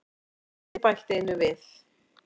Svo get ég bætt einu við.